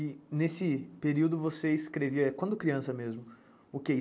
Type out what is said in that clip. E nesse período você escrevia, quando criança mesmo, o quê?